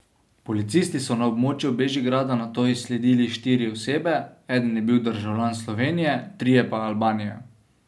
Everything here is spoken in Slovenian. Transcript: Policisti so na območju Bežigrada nato izsledili štiri osebe, eden je bil državljan Slovenije, trije pa Albanije.